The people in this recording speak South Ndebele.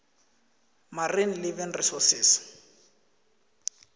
marine living resources